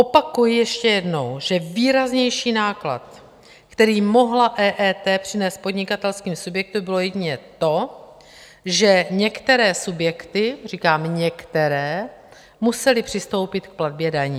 Opakuji ještě jednou, že výraznější náklad, který mohla EET přinést podnikatelským subjektům, bylo jedině to, že některé subjekty - říkám některé - musely přistoupit k platbě daní.